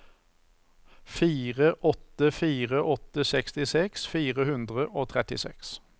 fire åtte fire åtte sekstiseks fire hundre og trettiseks